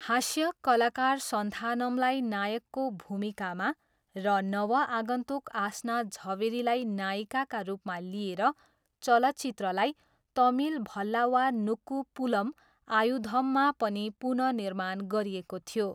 हास्य कलाकार सन्थानमलाई नायकको भूमिकामा र नवआगन्तुक आस्ना झवेरीलाई नायिकाका रूपमा लिएर चलचित्रलाई तमिल भल्लावानुक्कू पुलम आयुधममा पनि पुनःनिर्माण गरिएको थियो।